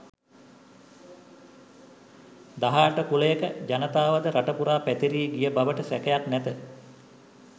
දහ අට කුළයක ජනතාවද රට පුරා පැතිරී ගිය බවට සැකයක් නැත.